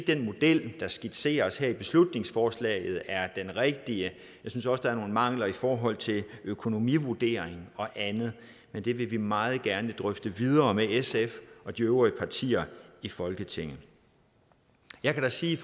den model der skitseres her i beslutningsforslaget er den rigtige jeg synes også der er nogle mangler i forhold til økonomivurdering og andet men det vil vi meget gerne drøfte videre med sf og de øvrige partier i folketinget jeg kan sige